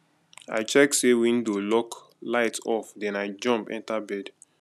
i check say window lock light off then i jump enter bed